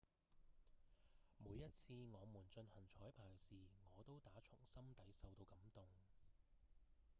「每一次我們進行彩排時我都打從心底受到感動」